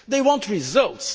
They want results.